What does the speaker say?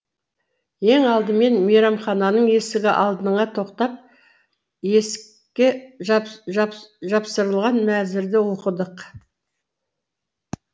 ең алдымен мейрамхананың есігі алдыңа тоқтап есікке жапсырылған мәзірді оқыдық